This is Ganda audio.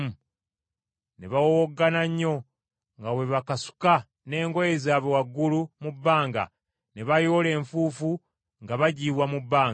Ne bawowoggana nnyo nga bwe bakasuka n’engoye zaabwe waggulu mu bbanga, ne bayoola enfuufu nga bagiyiwa mu bbanga.